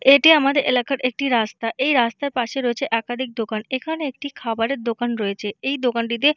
এটি আমাদের এলাকার একটি রাস্তা। এই রাস্তার পাশে রয়েছে একাধিক দোকান এখানে একটি খাবারের দোকান রয়েছে। এই দোকানটিতে--